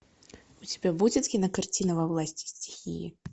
у тебя будет кинокартина во власти стихии